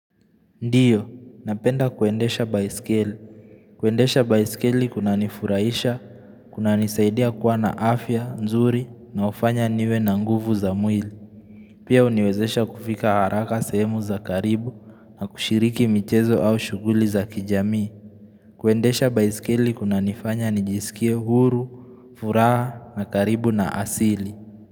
Ndiyo, napenda kuendesha baiskeli. Kuendesha baiskeli kuna nifuraisha, kuna nisaidia kuwa na afya, nzuri, na ufanya niwe na nguvu za mwili. Pia uniwezesha kufika haraka sehemu za karibu na kushiriki michezo au shuguli za kijamii. Kuendesha baiskeli kuna nifanya nijisikie huru, furaha, na karibu na asili.